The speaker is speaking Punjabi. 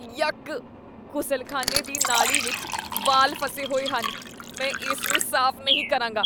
ਯੱਕ! ਗੁਸਲਖ਼ਾਨੇ ਦੀ ਨਾਲੀ ਵਿੱਚ ਵਾਲ ਫਸੇ ਹੋਏ ਹਨ। ਮੈਂ ਇਸ ਨੂੰ ਸਾਫ਼ ਨਹੀਂ ਕਰਾਂਗਾ।